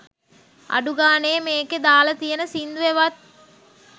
අඩු ගානේ මේකේ දාල තියෙන සින්දුවෙවත්